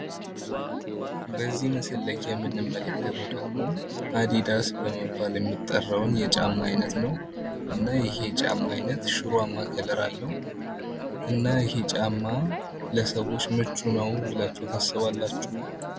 በዚህ ምስል ላይ የምንመለከተው ደግም አድዳስ በመባል የሚጠራውን የጫማ አይነት ነው። እና ይህ የጫማ አይነት ሽሯማ ቀለም አለው። እና ይሄ ጫማ ለሰዎች ምቹ ነው ብላችሁ ታስባላችሁ?